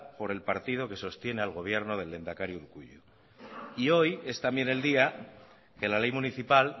por el partido que sostiene al gobierno del lehendakari urkullu y hoy es también el día que la ley municipal